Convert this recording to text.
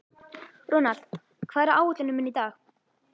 Ronald, hvað er á áætluninni minni í dag?